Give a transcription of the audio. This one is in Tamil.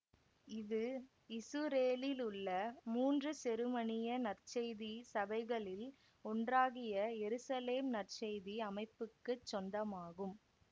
இது இசுரேலிலுள்ள மூன்று செருமனிய நற்செய்தி சபைகளில் ஒன்றாகிய எருசலேம் நற்செய்தி அமைப்புக்குச் சொந்தமாகும்